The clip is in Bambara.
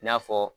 I n'a fɔ